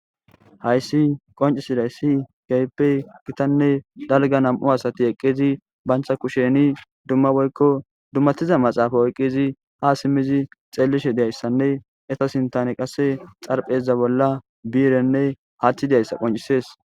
hayssi qoncisidayssi geppe gitanne dalga nam7u asati eqqizi bancha kusheni dumma boykko dummatiza maxaafa oyqqizi ha simmizi xeellishe deyayssanne eta sintane qasse xarpheza bolla biirenne haaththi dayssa qoncisees